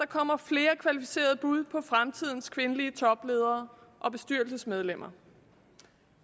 kommer flere kvalificerede bud på fremtidens kvindelige topledere og bestyrelsesmedlemmer